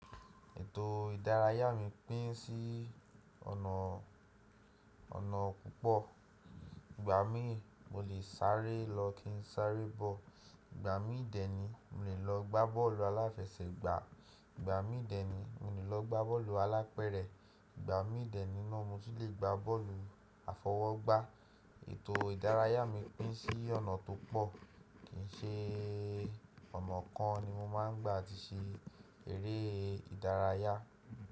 Ètò ìdárayá mi pín sí ọ̀nà, ọ̀nà púpọ̀. Ìgbà mí mo lè sáré lọ kí n sáré bọ̀. Ìgbà mí dẹ́ni mo lè lọ gbá bọ́ọ̀lù aláfẹsẹ̀gbà. Ìgbà mí dẹ́ni mo lè lọ gbá bọ́ọ̀lù alápẹ̀rẹ̀. Ìgbà mí dẹ́ni náà mo ti lè gbá bọ́ọ̀lù àfọwọ́gbá. Ètò ìdárayá mi pín sí ọ̀nà tó pọ̀. Kìí n ṣe ọ̀nà kan ni mo máa ń gbà ti ṣe eré ìdárayá.